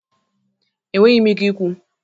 Enweghi m ike ikwu.